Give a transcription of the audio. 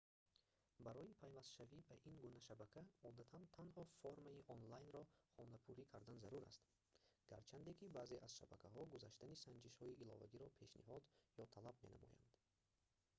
барои пайвастшавӣ ба ин гуна шабака одатан танҳо формаи онлайнро хонапурӣ кардан зарур аст гарчанде ки баъзе аз шабакаҳо гузаштани санҷишҳои иловагиро пешниҳод ё талаб менамоянд